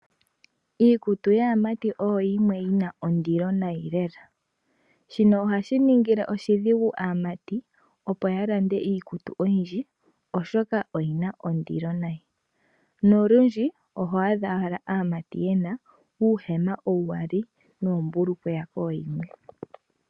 Iikutu yaamatiboyo yimwe yina ondilo nayi lela. Shino oha shi ningile oshidhigu amati opo ya lande iikutu oyindji, oshoka oyi na ondilo nayi, nolundji oho adja owala asmatibyena uuhema ugali nombukweya yimwe.